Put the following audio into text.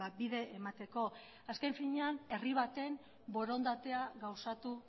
bide emateko azken finean herri baten borondatea gauzatu